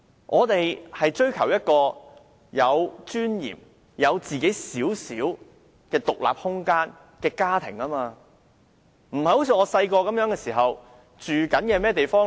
我們追求一個有尊嚴、有自己細小獨立空間的家庭，不像我小時候那樣。